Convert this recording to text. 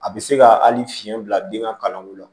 A bɛ se ka hali fiɲɛ bila den ka kalanko la